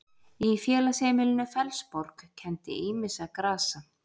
Í félagsheimilinu Fellsborg kenndi ýmissa grasa.